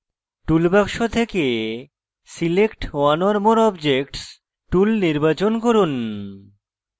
tool box থেকে select one or more objects tool নির্বাচন from